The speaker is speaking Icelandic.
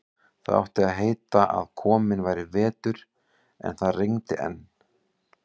Það átti að heita að kominn væri vetur, en það rigndi enn.